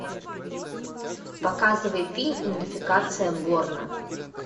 показывай фильм идентификация борна